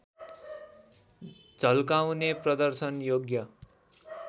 झल्काउने प्रदर्शन योग्य